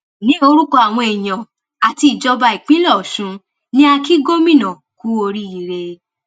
ní orúkọ àwọn èèyàn àti ìjọba ìpínlẹ ọṣun ni a kì gómìnà kú oríire